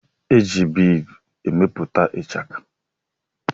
Eji biidi emepụta ichaka.